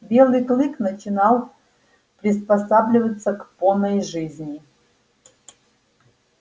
белый клык начинал приспосабливаться к поной жизни